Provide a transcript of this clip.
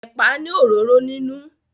Ẹ̀pà ni òróró nínú.